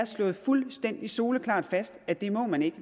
slået fuldstændig soleklart fast at det må man ikke